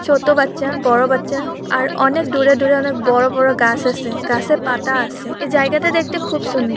ছোট বাচ্চা বড়ো বাচ্চা আর অনেক দূরে দূরে অনেক বড়ো বড়ো গাছ আসে গাছের পাতা আসে এ জায়গাটা দেখতে খুব সুন্দ--